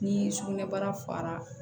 Ni sugunɛbara fara